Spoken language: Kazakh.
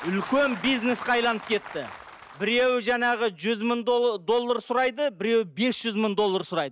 үлкен бизнеске айналып кетті біреуі жаңағы жүз мың доллар сұрайды біреуі бес жүз мың доллар сұрайды